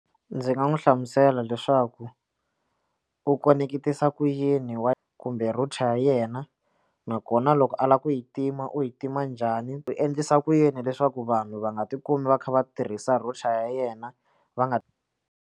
Ndzi nga n'wi hlamusela leswaku u khoneketisa ku yini wa kumbe router ya yena nakona loko a lava ku yi tima u yi tima njhani u endlisa ku yini leswaku vanhu va nga ti kumi va kha va tirhisa router ya yena va nga.